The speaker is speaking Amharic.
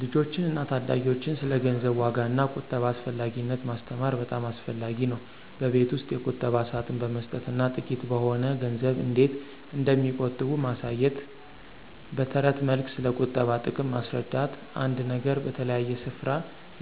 ልጆችን እና ታዳጊዎችን ስለ ገንዘብ ዋጋ እና ቁጠባ አስፈላጊነት ማስተማር በጣም አስፈላጊ ነው። በቤት ውስጥ የቁጠባ ሳጥን በመስጠት እና ጥቂት በሆነ ገንዘብ እንዴት እንደሚቆጥቡ ማሳየት። በትረት መልክ ስለቁጠባ ጥቅም ማስረዳት። አንድ ነገር በተለያየ ስፍራ